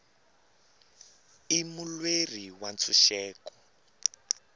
i mulweri wa ntshuxeko